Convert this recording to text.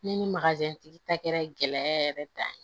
Ne ni tigi ta kɛra gɛlɛya yɛrɛ dan ye